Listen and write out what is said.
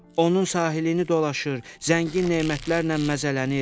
Onun sahilini dolaşır, zəngin nemətlərlə məzələnilir.